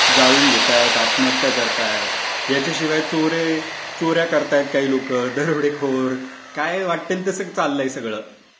जाळून घेतायत. आत्महत्या करतायत. याच्याशिवाय चोरी, चोर् या करतायत काही लोकं. दरोडेखोर काय वाटेल तसं चाललंय सगळं.